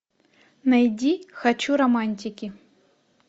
найди хочу романтики